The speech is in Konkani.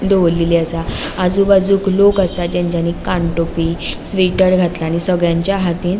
दोवोरलेली आसा आजू बाजूक लोक आसा जेंचानी कानटोपी स्वेटर घातला आणि सगळ्यांच्या हातींन --